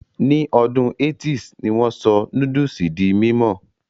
Ní ọdún 80's ni wón sọ núdùsì di mímọ̀